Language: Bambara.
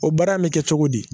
O baara in bɛ kɛ cogo di